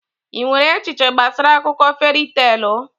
Ị nwere echiche gbasara akụkọ feri teelụ?